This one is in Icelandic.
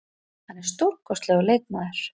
Hann er stórkostlegur leikmaður.